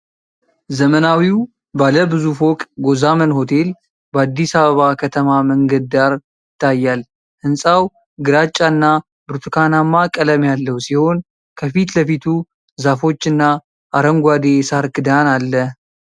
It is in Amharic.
ዘመናዊው ባለ ብዙ ፎቅ ጎዛመን ሆቴል በአዲስ አበባ ከተማ መንገድ ዳር ይታያል። ህንጻው ግራጫና ብርቱካናማ ቀለም ያለው ሲሆን ከፊት ለፊቱ ዛፎችና አረንጓዴ የሣር ክዳን አለ።